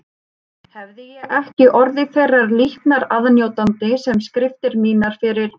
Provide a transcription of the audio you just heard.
Hefði ég ekki orðið þeirrar líknar aðnjótandi sem skriftir mínar fyrir